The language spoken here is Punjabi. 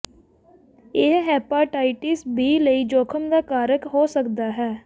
ਇਹ ਹੈਪਾਟਾਇਟਿਸ ਬੀ ਲਈ ਜੋਖਮ ਦਾ ਕਾਰਕ ਹੋ ਸਕਦਾ ਹੈ